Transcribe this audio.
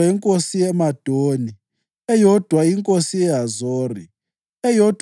inkosi yeMadoni, eyodwa inkosi yeHazori, eyodwa